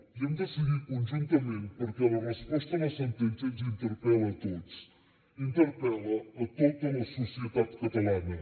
i hem de seguir conjuntament perquè la resposta a la sentència ens interpel·la a tots interpel·la a tota la societat catalana